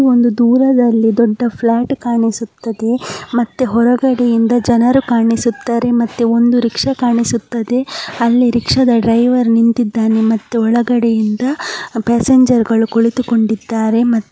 ಅಲ್ಲಿ ದೂರದಲ್ಲಿ ಒಂದು ದೊಡ್ಡ ಫ್ಲ್ಯಾಟ್ ಕಾಣಿಸುತ್ತಿದೆ ಮತ್ತೆ ಹೊರಗಡೆಯಿಂದ ಜನರು ಕಾಣಿಸುತ್ತಾರೆ ಮತ್ತೆ ಒಂದು ರಿಕ್ಷಾ ಕಾಣಿಸುತ್ತದೆ. ಅಲ್ಲಿ ರಿಕ್ಷಾದ ಡೈವರ್ ನಿಂತಿದ್ದಾನೆ ಮತ್ತು ಒಳಗಡೆಯಿಂದ ಪ್ಯಾಸೆಂಜರ್ ಗಳು ಕುಳಿತುಕೊಂಡಿದ್ದಾರೆ ಮತ್ತು --